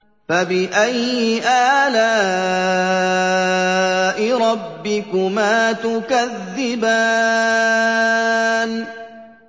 فَبِأَيِّ آلَاءِ رَبِّكُمَا تُكَذِّبَانِ